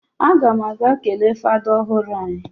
A gam aga kele fada ohuru anyi.